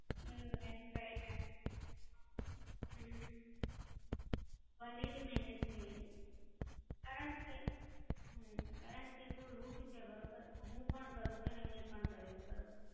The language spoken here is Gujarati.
હમમમ. Right. Right. હમમમ. બન્ને ની મહેનત જોઈએ. કારણ કે, હમમમ, કારણ કે, જો Rut છે બરોબર, હું પણ કરું છું અને એમને પણ કરે છે બરોબર.